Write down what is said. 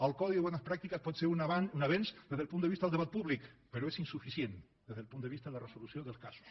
el codi de bones pràctiques pot ser un avenç des del punt de vista del debat públic però és insuficient des del punt de vista de la resolució dels casos